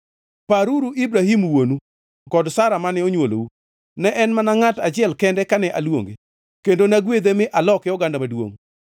paruru Ibrahim wuonu kod Sara mane onywolou. Ne en mana ngʼat achiel kende kane aluonge kendo nagwedhe mi aloke oganda maduongʼ.